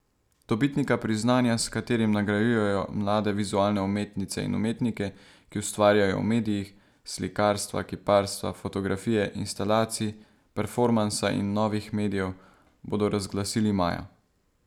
Dobitnika priznanja, s katerim nagrajujejo mlade vizualne umetnice in umetnike, ki ustvarjajo v medijih slikarstva, kiparstva, fotografije, instalacij, performansa in novih medijev, bodo razglasili maja.